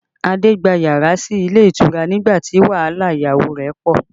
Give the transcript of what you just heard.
Adé gba yàrá sí ilé ìtura nígbà tí wàhálà ìyàwó rẹ̀ pọ